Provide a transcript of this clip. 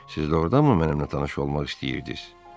Siz doğurdanmı mənimlə tanış olmaq istəyirdiz?